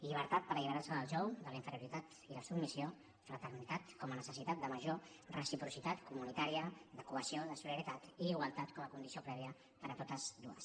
llibertat per alliberarse del jou de la inferioritat i la submissió fraternitat com a necessitat de major reciprocitat comunitària de cohesió de solidaritat i igualtat com a condició prèvia per a totes dues